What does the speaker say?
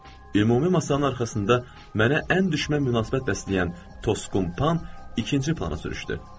Ümumi masanın arxasında mənə ən düşmən münasibət bəsləyən Tosqun Pan ikinci plana sürüşdü.